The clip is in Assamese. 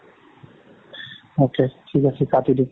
ঠিক আছে কাতি দে।